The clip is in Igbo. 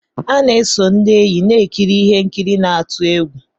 A na-eso ndị enyi na-ekiri ihe nkiri n'atu egwu.